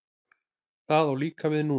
Það á líka við núna.